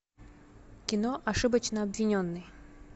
кино ошибочно обвиненный